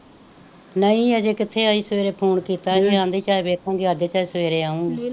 ਨਹੀਂ ਅਜੇ ਕਿੱਥੇ ਆਈ ਸਵੇਰੇ ਫੋਨ ਕੀਤਾ ਕਹਿੰਦੀ ਚਾਏ ਵੇਖੂਗੀ ਆਹ ਚਾਏ ਸਵੇਰੇ ਆਉਗੀ,